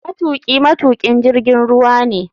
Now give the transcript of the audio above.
Matuki matukin jirgin ruwa ne.